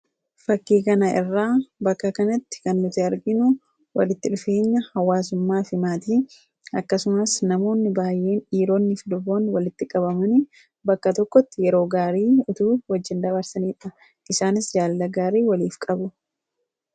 Fakkii kana irraa bakka kanatti kan nuti arginu walitti dhufeenya hawaasummaafi maatii akkasumas namoonni baay'een dhiironniifi durboonni walitti qabaman bakka tokkotti yeroo gaarii itoo wajjin dabarsaniidha. Isaanis jaalala gaarii waliif qabu.